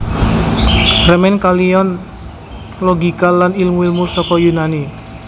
Remen kaliyan logika lan ilmu ilmu saka Yunani